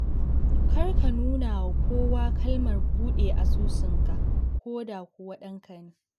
Kar ka nunawa kowa kalmar buɗe asusunka ko da kuwa ɗanka ne.